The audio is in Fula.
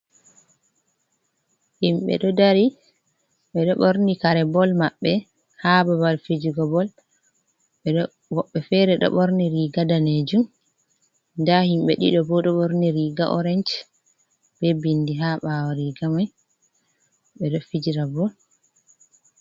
Himɓɓe ɗo dari ɓe ɗoo ɓorni kare bol maɓɓe ha babal fijigo bol woɓɓe fere ɗo ɓorni riga danejum nda himɓɓe ɗiɗo ɓo ɗo ɓorni riga oranc be bindi ha bawo riga mai ɓe ɗo fijira bol.